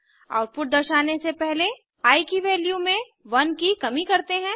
output दर्शाने से पहले आई की वैल्यू में 1 की कमी करते हैं